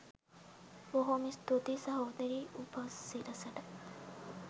බොහෝම ස්තූතියි සහෝදරී උපසිරසට